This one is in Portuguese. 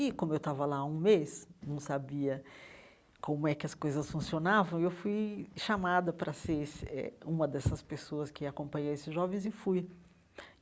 E, como eu estava lá há um mês, não sabia como é que as coisas funcionavam, eu fui chamada para ser esse eh uma dessas pessoas que acompanha esses jovens e fui.